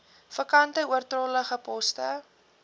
vakante oortollige poste